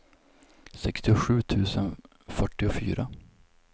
sextiosju tusen fyrtiofyra